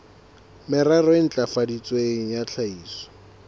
merero e ntlafaditsweng ya tlhahiso